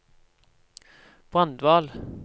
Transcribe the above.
Brandval